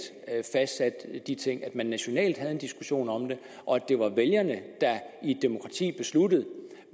fastsatte de ting at man nationalt havde en diskussion om det og at det var vælgerne der i et demokrati besluttede